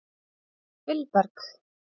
Vilberg